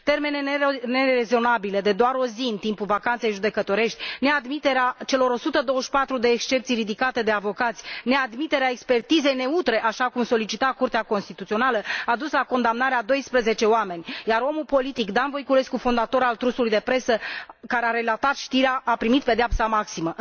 Termene nerezonabile, de doar o zi, în timpul vacanței judecătorești, neadmiterea celor 124 de excepții ridicate de avocați, neadmiterea expertizei neutre, așa cum solicita Curtea Constituțională, a dus la condamnarea a 12 oameni, iar omul politic Dan Voiculescu, fondator al trustului de presă care a relatat știrea, a primit pedeapsa maximă.